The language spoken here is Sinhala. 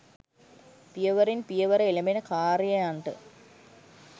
පියවරෙන් පියවර එළඹෙන කාර්යයන්ට